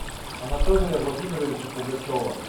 анатолия владимировича пугачева